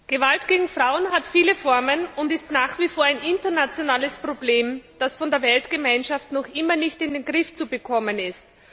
Herr Präsident! Gewalt gegen Frauen hat viele Formen und ist nach wie vor ein internationales Problem, das von der Weltgemeinschaft noch immer nicht in den Griff zu bekommen ist.